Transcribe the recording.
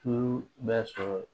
Tulu bɛ sɔrɔ